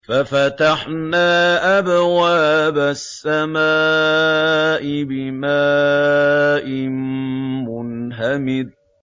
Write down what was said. فَفَتَحْنَا أَبْوَابَ السَّمَاءِ بِمَاءٍ مُّنْهَمِرٍ